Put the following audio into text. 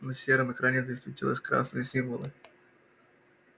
на сером экране засветились красные символы